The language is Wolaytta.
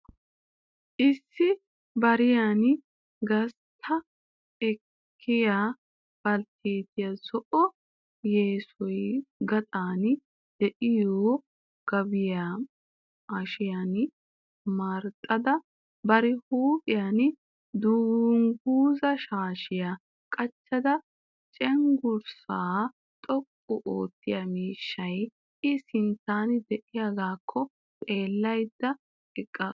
Issi bariyan gastta ekkiya baltteetiya zo'o yessay gaxan de'iyo gaabiya hashiyan marxxada bari huuphiyan dungguza shaashiya qacada cenggurssaa xoqqu oottiya miishshay i sinttan de'iyagaakko xeellada eqqaasu.